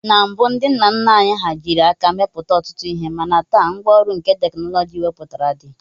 Na mbụ ndị nna nna anyị hà jiri aka mepụta ọtụtụ ihe mana taa, ngwa ọrụ nke teknọlọjị wepụtara dị